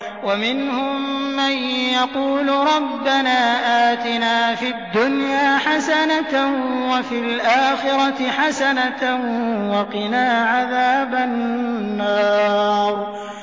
وَمِنْهُم مَّن يَقُولُ رَبَّنَا آتِنَا فِي الدُّنْيَا حَسَنَةً وَفِي الْآخِرَةِ حَسَنَةً وَقِنَا عَذَابَ النَّارِ